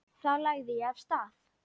Þá lagði ég af stað.